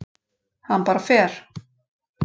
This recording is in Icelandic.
Hann bara fer.